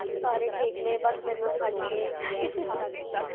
ਸਾਰੇ ਠੀਕ ਨੇ, ਬੱਸ ਮੈਨੂ ਛਡ ਕੇ